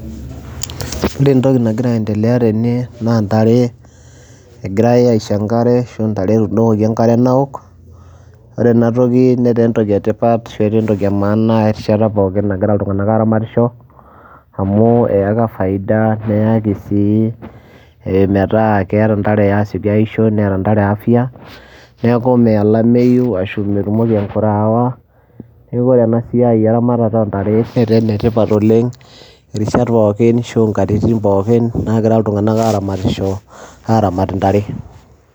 Ore entoki nagira aiendelea tene naa ntare egirai aisho enkare aisho ntare etuudokoki enkare naok. Ore ena toki netaa entoki e tipat etaa entoki e maana erishata pookin nagira iltung'anak aaramatisho amu eyaka faida neyaki sii metaa keeta nate aasioki aisho, neeta ntare afya, neeku meya olameyu ashu metumoki enkure aawa. Neeku ore ena siai eramatata o ntare netaa ene tipat oleng' irishat pookin ashu nkatitin pookin naagira iltung'anak aramatisho aaramat intare.